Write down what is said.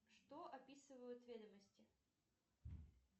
что описывают ведомости